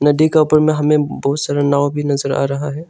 नदी का ऊपर में हमें बहुत सारा नाव भी नजर आ रहा है।